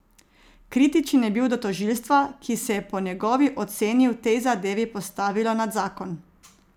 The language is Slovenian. Kritičen je bil do tožilstva, ki se je po njegovi oceni v tej zadevi postavilo nad zakon.